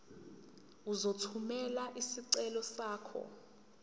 uzothumela isicelo sakho